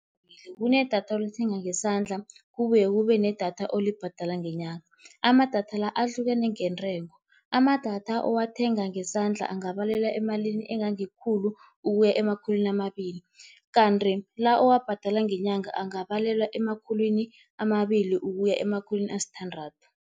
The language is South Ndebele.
Kunedatha olithenga ngesandla kubuye kube nedatha olibhadala ngenyanga. Amadatha la ahlukene ngentengo, amadatha owathenga ngesandla angabalelwa emalini engangekhulu ukuya emakhulwini amabili. Kanti la owabhadala ngenyanga angabalelwa emakhulwini amabili ukuya emakhulwini asithandathu.